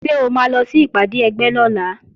Ṣé o máa lọ sí ìpàdé ẹgbẹ́ lọ́la?